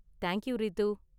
Thank you Ritu.